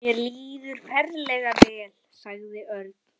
Mér líður ferlega vel, sagði Örn.